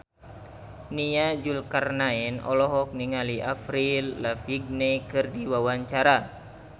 Nia Zulkarnaen olohok ningali Avril Lavigne keur diwawancara